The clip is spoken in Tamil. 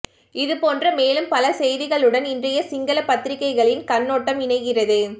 இதுபோன்ற மேலும் பல செய்திகளுடன் இன்றைய சிங்கள பத்திரிகைகளின் கண்ணோட்டம் இணைகிறது